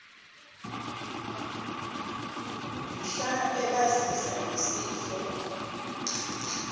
mhla ebazisa ngesifo